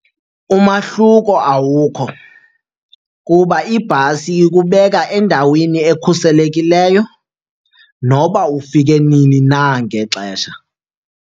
Umahluko awukho kuba ibhasi ikubeka endaweni ekhuselekileyo noba ufike nini na ngexesha.